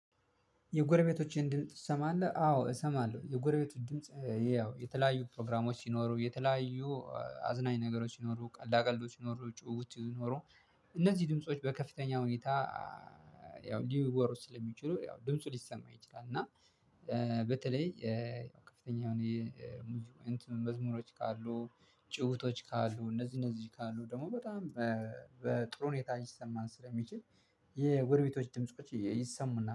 የጎረቤቶችህን ድምጽ ትሰማለህ? አዎ! እሰማለሁ። የጎረቤትን ድምጽ ያው የተለያዩ ፕሮግራሞች ሲኖሩ፣ የተለያዩ አዝናኝ ነገሮች ሲኖሩ፣ ቀልዳ ቀልዶች ሲኖሩ፣ ጭዉዉት ሲኖሩ እነዚህ ድምጾች በከፍተኛ ሁኔታ ያው ሊወሩ ስለሚችሉ ያው ድምፁ ሊሰማ ይችላል እና በተለይ ከፍተኛ የሆነ መዝሙሮች ካሉ፣ ጭዉዉቶች ካሉ፣ እንዚህ እነዚህ ካሉ ደግሞ በጣም በጥሩ ሁኔታ ሊሰማን ስለሚችል የጎረቤቶች ድምጾች ይሰሙናል።